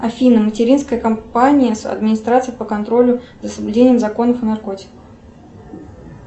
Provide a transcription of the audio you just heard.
афина материнская компания с администрацией по контролю за соблюдением законов о наркотиках